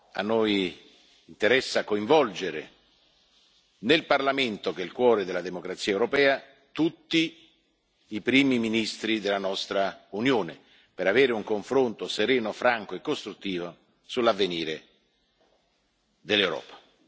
A noi interessa coinvolgere nel Parlamento, che è il cuore della democrazia europea, tutti i Primi ministri della nostra Unione, per avere un confronto sereno, franco e costruttivo sull'avvenire dell'Europa.